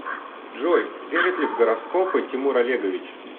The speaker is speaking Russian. джой верит ли в гороскопы тимур олегович